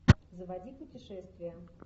заводи путешествия